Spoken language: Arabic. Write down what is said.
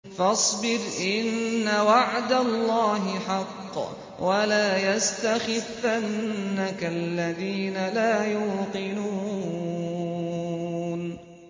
فَاصْبِرْ إِنَّ وَعْدَ اللَّهِ حَقٌّ ۖ وَلَا يَسْتَخِفَّنَّكَ الَّذِينَ لَا يُوقِنُونَ